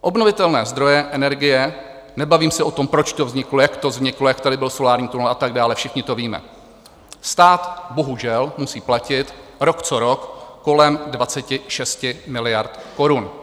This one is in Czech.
Obnovitelné zdroje energie - nebavím se o tom, proč to vzniklo, jak to vzniklo, jak tady byl solární tunel a tak dále, všichni to víme - stát bohužel musí platit rok co rok kolem 26 miliard korun.